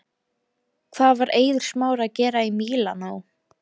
Hvað var Eiður Smári að gera í Mílanó?